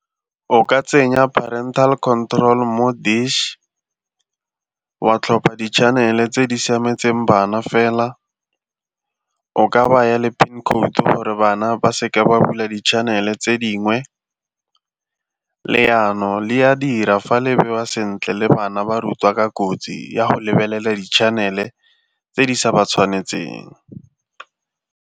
O ka tsenya parental control mo dish wa tlhopha di-channel tse di siametseng bana fela, o ka baya le PIN code gore bana ba seka ba bula di-channel tse dingwe. Le yanong le a dira fa le bewa sentle le bana ba rutiwa ka kotsi ya go lebelela di-channel-e tse di sa ba tshwanetseng.